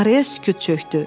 Araya sükut çökdü.